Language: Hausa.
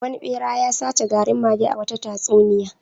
Wani ɓera ya sace garin mage a wata tatsuniya.